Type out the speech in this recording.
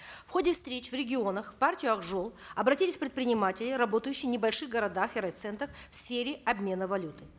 в ходе встреч в регионах в партию ак жол обратились предприниматели работающие в небольших городах и райцентрах в сфере обмена валюты